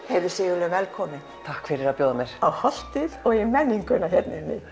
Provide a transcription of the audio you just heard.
heyrðu Sigurlaug velkomin takk fyrir að bjóða mér á Holtið og í menninguna hér